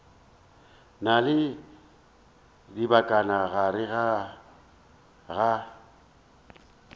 na le dibakana gare ga